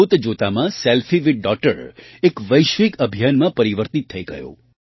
જોતજોતામાં selfie with daughter એક વૈશ્વિક અભિયાનમાં પરિવર્તિત થઈ ગયું